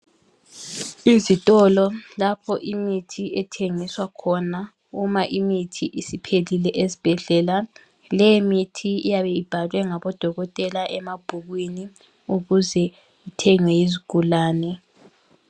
Izitolo lapho imithi ethengiswa khona uma imithi isiphelile esibhedlela. Le imithi iyabe ibhalwe ngabodokotela emabhukwini ukuze ithengwe yizigulane.